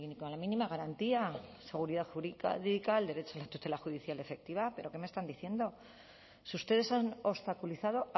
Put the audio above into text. con la mínima garantía seguridad jurídica al derecho de tutela judicial efectiva pero qué me están diciendo si ustedes han obstaculizado